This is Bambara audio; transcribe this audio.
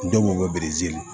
Denw bɛ